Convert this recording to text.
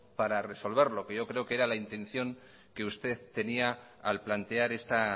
para resolverlo que yo creo que era la intención que usted tenía al plantear esta